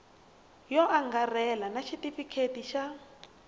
yo angarhela na xitifiketi xa